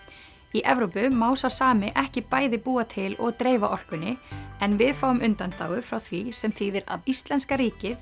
í Evrópu má sá sami ekki bæði búa til og dreifa orkunni en við fáum undanþágu frá því sem þýðir að íslenska ríkið